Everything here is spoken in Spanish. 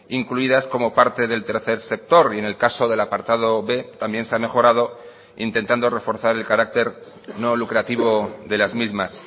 incluidas como parte del tercer sector y en el caso del apartado b también se ha mejorado intentando reforzar el carácter no lucrativo de las mismas